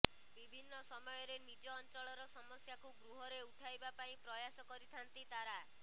ବିଭିନ୍ନ ସମୟରେ ନିଜ ଅଞ୍ଚଳର ସମସ୍ୟାକୁ ଗୃହରେ ଉଠାଇବା ପାଇଁ ପ୍ରୟାସ କରିଥାନ୍ତି ତାରା